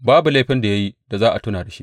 Babu laifin da ya yi da za a tuna da su.